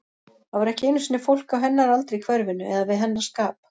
Það var ekki einu sinni fólk á hennar aldri í hverfinu, eða við hennar skap.